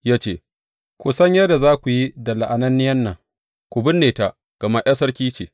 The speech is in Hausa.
Ya ce, Ku san yadda za ku yi da la’ananniyan nan, ku binne ta, gama ’yar sarki ce.